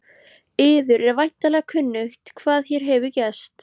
Yður er væntanlega kunnugt hvað hér hefur gerst.